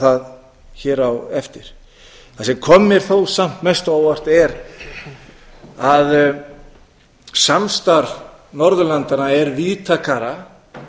það hér á eftir það sem kom mér þó samt mest á óvart er að samstarf norðurlandanna er víðtækara